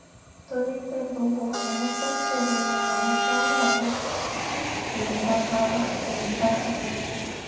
torí pé gbogbo àwọn tó kù nínú àwùjọ náà ló yòǹda ara yòǹda ara wọn